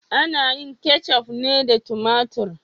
Ana yin keccuf ne da tumatur.